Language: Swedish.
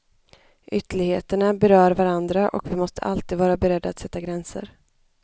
Ytterligheterna berör varandra och vi måste alltid vara beredda att sätta gränser.